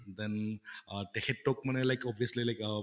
then অহ তেখেতক মানে like obviously like